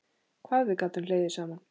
Hvað við gátum hlegið saman.